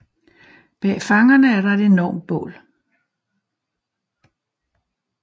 Bag fangerne er der et enormt bål